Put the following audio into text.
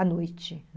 À noite